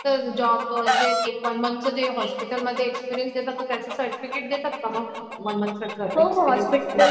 तर जॉब ते तर वन मोन्थ हॉस्पिटल मध्ये एक्सपिरियन्स देतात तर त्याच सर्टिफिकेट देतात का मग?